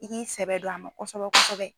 I k'i sɛbɛ don a ma kɔsɔbɛ kɔsɔbɛ.